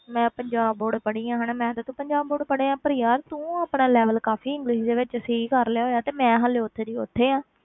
ਮੈਂ ਪੰਜਾਬ board ਪੜ੍ਹੀ ਹਾਂ, ਹਨਾ ਮੈਂ ਤੇ ਤੂੰ ਪੰਜਾਬ board ਪੜ੍ਹੇ ਹਾਂ, ਪਰ ਯਾਰ ਤੂੰ ਆਪਣਾ level ਕਾਫ਼ੀ english ਦੇ ਵਿੱਚ ਸਹੀ ਕਰ ਲਿਆ ਹੋਇਆ ਤੇ ਮੈਂ ਹਾਲੇ ਉੱਥੇ ਦੀ ਉੱਥੇ ਹਾਂ।